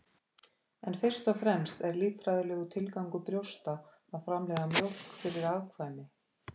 En fyrst og fremst er líffræðilegur tilgangur brjósta að framleiða mjólk fyrir afkvæmi.